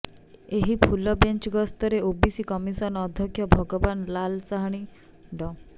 ଏହି full bench ଗସ୍ତରେ OBC commission ଅଧ୍ୟକ୍ଷ ଭଗବାନ ଲାଲ ସାହାଣୀ ଡ